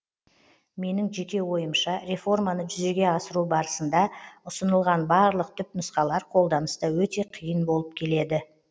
менің жеке ойымша реформаны жүзеге асыру барысында ұсынылған барлық түпнұсқалар қолданыста өте қиын болып келеді